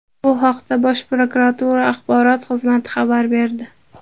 Bu haqda Bosh prokuratura axborot xizmati xabar berdi .